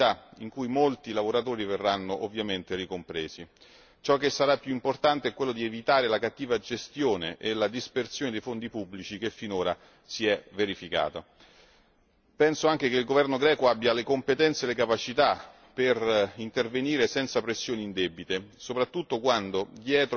Ciò che sarà più importante è evitare la cattiva gestione e la dispersione dei fondi pubblici che finora si è verificata. Penso anche che il governo greco abbia le competenze e le capacità per intervenire senza pressioni indebite, soprattutto quando dietro ad un dibattito come questo si vuol far percepire che